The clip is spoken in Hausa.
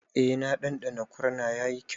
E, na ɗanɗana kuma yayi kyau.